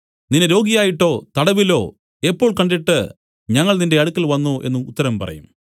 നിന്നെ രോഗിയായിട്ടോ തടവിലോ എപ്പോൾ കണ്ടിട്ട് ഞങ്ങൾ നിന്റെ അടുക്കൽ വന്നു എന്നു ഉത്തരം പറയും